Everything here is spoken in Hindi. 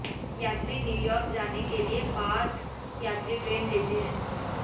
यात्री न्यूयार्क जाने के लिए पाथ यात्री ट्रेन लेते हैं